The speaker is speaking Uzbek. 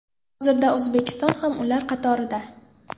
Hozirda O‘zbekiston ham ular qatorida.